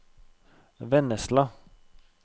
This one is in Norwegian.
Vennesla